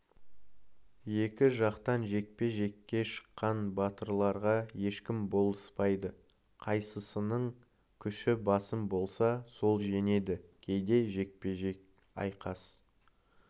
екі жақтан жекпе-жекке шыққан батырларға ешкім болыспайды қайсысының күші басым болса сол жеңеді кейде жекпе-жек айқас